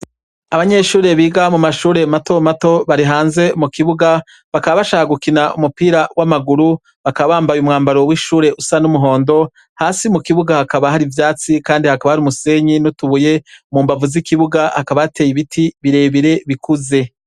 Abanyeshure biga mu mashure matomato bari hanze mu kibuga bakaba bashaka gukina umupira w'amaguru, bakaba bambaye umwambaro w'ishure usa n'umuhondo, hasi mu kibuga hakaba hari ivyatsi kandi hakaba hari umusenyi n'utubuye, mu mbavu z'ikibuga hakaba hateye ibiti birebire bikuze.